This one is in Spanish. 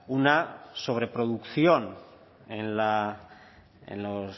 una sobre producción en la en los